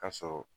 Ka sɔrɔ